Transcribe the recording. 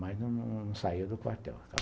Mas não saía do quartel, ficava lá.